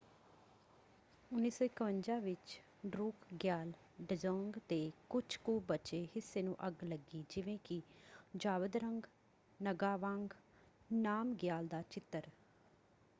1951 ਵਿੱਚ ਡਰੂਕਗਿਆਲ ਡਜ਼ੋਂਗ ਦੇ ਕੁਝ ਕੁ ਬਚੇ ਹਿੱਸੇ ਨੂੰ ਅੱਗ ਲੱਗੀ ਜਿਵੇਂ ਕਿ ਜ਼ਾਬਦਰੰਗ ਨਗਾਵਾਂਗ ਨਾਮਗਿਆਲ ਦਾ ਚਿੱਤਰ।